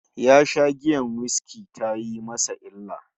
Ya sha giyar whiskey tayi masa illa